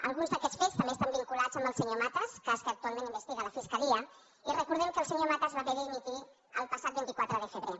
alguns d’aquests fets també estan vinculats amb el senyor matas cas que actualment investiga la fiscalia i recordem que el senyor matas va haver de dimitir el passat vint quatre de febrer